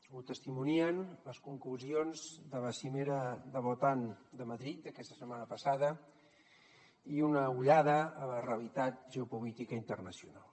ho testimonien les conclusions de la cimera de l’otan de madrid aquesta setmana passada i una ullada a la realitat geopolítica internacional